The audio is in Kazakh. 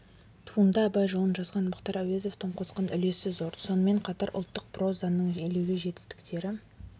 туынды абай жолын жазған мұхтар әуезовтің қосқан үлесі зор сонымен қатар ұлттық прозаның елеулі жетістіктері